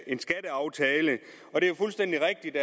en skatteaftale det er jo fuldstændig rigtigt